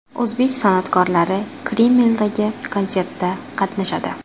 O‘zbek san’atkorlari Kremldagi konsertda qatnashadi.